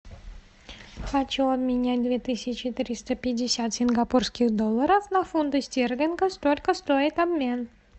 хочу обменять две тысячи триста пятьдесят сингапурских долларов на фунты стерлингов сколько стоит обмен